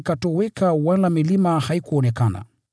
Kila kisiwa kikatoweka wala milima haikuonekana.